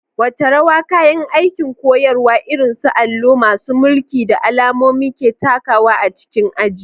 Wace rawa kayan aikin koyarwa irin su allo, masu mulki, da alamomi ke takawa a cikin aji?